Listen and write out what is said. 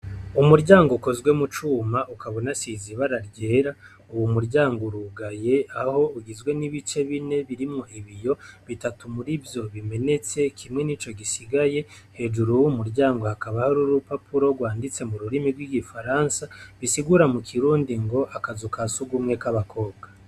Umuryango ukozwe mu cuma ukabona sizibara ryera uwu muryango urugaye aho ugizwe n'ibice bine birimwo ibiyo bitatu muri vyo bimenetse kimwe ni co gisigaye hejuru w' umuryango hakaba hari urupapuro rwanditse mu rurimi rw'igifaransa bisigura mu kirundi ngo akaza uka sugumwe k'abakobwa.